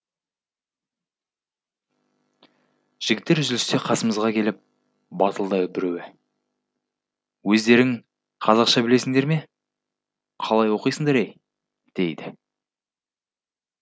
жігіттер үзілісте қасымызға келіп батылдау біреуі өздерің қазақша білесіңдер ме қалай оқисыңдар ей дейді